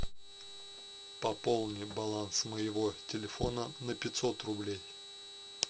пополни баланс моего телефона на пятьсот рублей